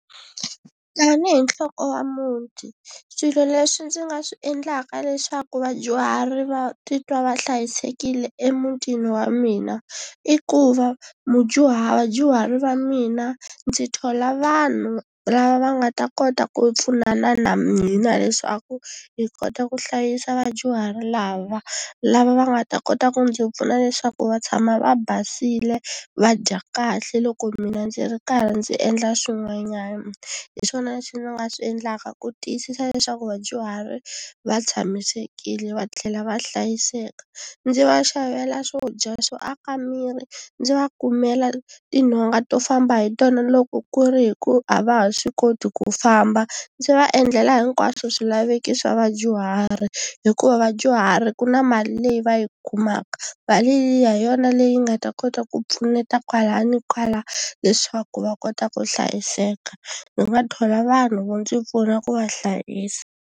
Tanihi nhloko ya muti swilo leswi ndzi nga swi endlaka leswaku vadyuhari va titwa va hlayisekile emutini wa mina i ku va mudyuhari vadyuhari va mina ndzi thola vanhu lava va nga ta kota ku pfunana na mina leswaku hi kota ku hlayisa vadyuhari lava, lava va nga ta kota ku ndzi pfuna leswaku va tshama va basile va dya kahle loko mina ndzi ri karhi ndzi endla swin'wanyana. Hi swona leswi ndzi nga swi endlaka ku tiyisisa leswaku vadyuhari va tshamisekile va tlhela va hlayiseka. Ndzi va xavela swo dya swo aka miri ndzi va kumela tinhonga to famba hi tona loko ku ri hi ku a va ha swi koti ku famba, ndzi va endlela hikwaswo swilaveko swa vadyuhari hikuva vadyuhari ku na mali leyi va yi kumaka. Mali liya hi yona leyi nga ta kota ku pfuneta kwala na kwala leswaku va kota ku hlayiseka ndzi nga thola vanhu vo ndzi pfuna ku va hlayisa.